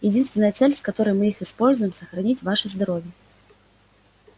единственная цель с которой мы их используем сохранить ваше здоровье